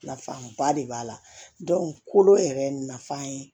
Nafaba de b'a la kolo yɛrɛ nafa ye